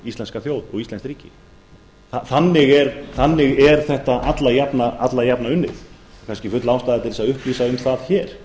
íslenska þjóð og íslenskt ríki þannig er þetta alla jafna unnið kannski full ástæða til þess að upplýsa um það hér